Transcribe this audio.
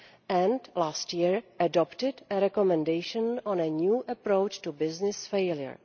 and last year adopted a recommendation on a new approach to business failure.